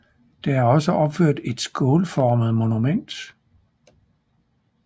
Der er også opført et skålformet monument